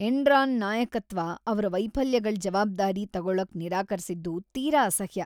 Enron ನಾಯಕತ್ವ ಅವ್ರ ವೈಫಲ್ಯಗಳ್ ಜವಾಬ್ದಾರಿ ತಗೊಳಕ್ ನಿರಾಕರ್ಸಿದ್ದು ತೀರಾ ಅಸಹ್ಯ.